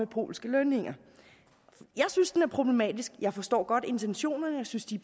polske lønninger jeg synes det er problematisk jeg forstår godt intentionerne jeg synes de